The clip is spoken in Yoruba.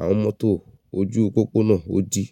àwọn mọ́tò ojú pópónà ó di.